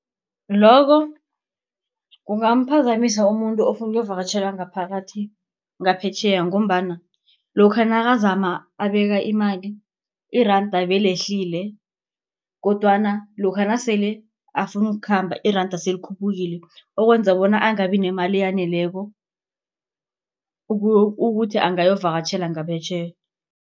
Loko kungamphazamisa umuntu ofuna ukuvakatjhela ngaphakathi ngaphetjheya. Ngombana lokha nakazama abeka imali iranda belehlile kodwana lokha nasele afuna ukukhamba iranda selikhuphukile okwenza bona angabi nemali eyaneleko ukuthi angayovakatjhela ngaphetjheya.